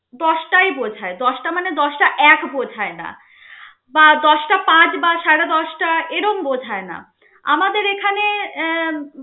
দশটাই বোঝায়. দশটা মানে দশটা এক বোঝায় না বা দশটা পাঁচ বা সাড়ে দশটা এরম বোঝায় না. আমাদের এখানে আহ